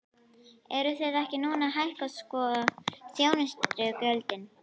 Eruð þið ekki núna að hækka sko þjónustugjöldin?